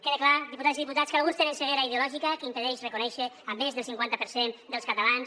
quedi clar diputades i diputats que alguns tenen ceguera ideològica que impedeix reconèixer més del cinquanta per cent dels catalans